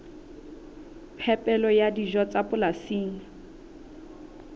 phepelo ya dijo tsa polasing